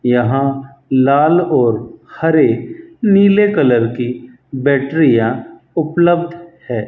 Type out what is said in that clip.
यहां लाल और हरे नीले कलर की बैटरीयां उपलब्ध है।